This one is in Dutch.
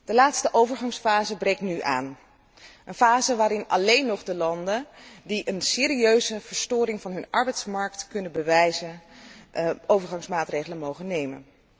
De laatste overgangsfase breekt nu aan, een fase waarin alleen nog de landen die een serieuze verstoring van hun arbeidsmarkt kunnen bewijzen overgangsmaatregelen mogen nemen.